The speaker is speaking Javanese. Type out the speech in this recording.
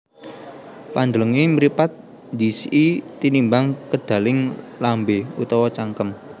Pandhelenge mripat ndhisiki tinimbang kedaling lambe utawa cangkem